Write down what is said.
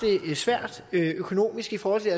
det svært økonomisk i forhold til